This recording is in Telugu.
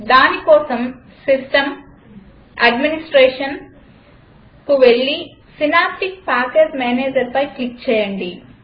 దానికోసం System gtAdministrationకు వెళ్లి సినాప్టిక్ ప్యాకేజ్ managerపై క్లిక్ చేయండి